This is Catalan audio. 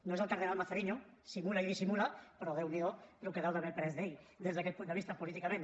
no és el cardenal mazzarino simula i dissimula però déun’hi do el que deu haver après d’ell des d’aquest punt de vista políticament